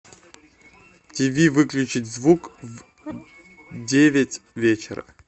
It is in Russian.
тиви выключить звук в девять вечера